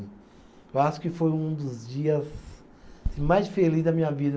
Eu acho que foi um dos dias mais felizes da minha vida.